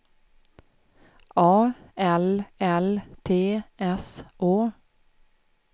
A L L T S Å